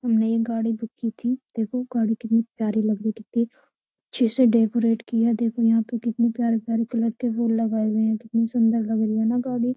हमने ये गाड़ी बुक की थी। देखो गाड़ी कितनी प्यारी लग रही है। कितनी अच्छे से डेकोरेट की है। देखो यहाँ पर कितने प्यारे-प्यारे कलर के फूल लगाये हुए है कितनी सुन्दर लग रही है न गाड़ी।